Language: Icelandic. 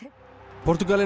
Portúgalinn